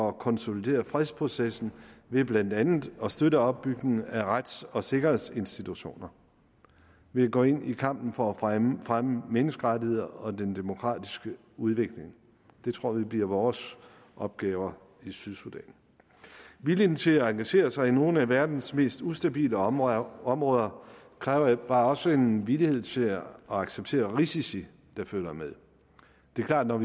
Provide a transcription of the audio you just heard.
at konsolidere fredsprocessen ved blandt andet at støtte opbygningen af rets og sikkerhedsinstitutioner vi går ind i kampen for at fremme fremme menneskerettigheder og den demokratiske udvikling det tror vi bliver vores opgave i sydsudan vilje til at engagere sig i nogle af verdens mest ustabile områder områder kræver også en villighed til at acceptere risici der følger med det er klart at